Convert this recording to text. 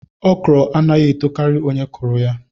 ọkrọ anaghị etokari onye kụrụ ya